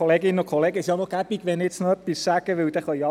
So können alle an ihren Platz gehen.